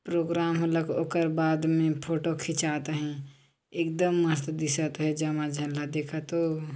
programme होकर बाद में फोटो खिचात है एक दम मस्त दिसत है जमाय झन ला देखत हो--